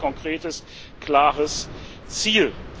sind. Das ist ein sehr konkretes klares